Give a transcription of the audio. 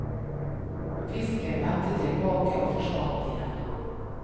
Fisken vendte tilbake og forsvant igjen.